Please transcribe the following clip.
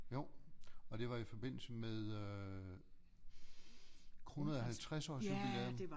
Jo og det var i forbindelse med øh 150 års jubilæum